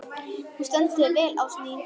Þú stendur þig vel, Ásný!